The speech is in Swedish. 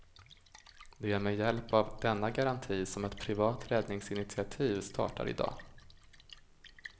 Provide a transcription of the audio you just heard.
Det är med hjälp av denna garanti som ett privat räddningsinitiativ startar i dag.